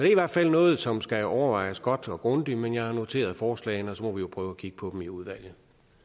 i hvert fald noget som skal overvejes godt og grundigt men jeg har noteret forslagene og så må vi jo prøve at kigge på dem i udvalget